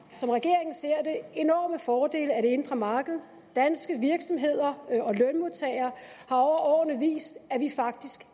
som regeringen ser det enorme fordele af det indre marked danske virksomheder og vist at vi faktisk